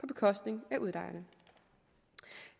bekostning af udlejerne